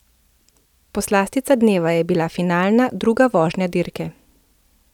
Poslastica dneva je bila finalna, druga vožnja dirke.